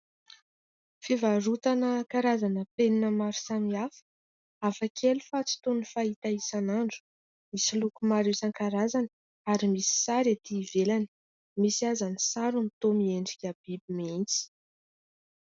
Fivarotana karazana penina maro samihafa, hafa kely fa tsy toy ny fahita isan'andro, misy loko maro san-karazany ary misy sary ety ivelany, misy aza ny sarony toa miendrika biby mihitsy.